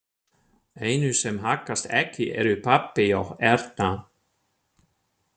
Einu sem haggast ekki eru pabbi og Erna.